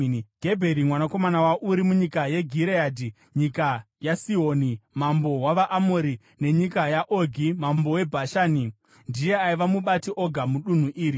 Gebheri mwanakomana waUri, munyika yeGireadhi (nyika yaSihoni mambo wavaAmori nenyika yaOgi mambo weBhashani). Ndiye aiva mubati oga mudunhu iri.